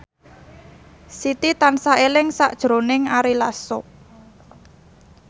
Siti tansah eling sakjroning Ari Lasso